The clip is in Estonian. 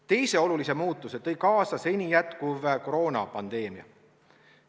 Teise olulise muutuse on kaasa toonud seni jätkuv koroonapandeemia.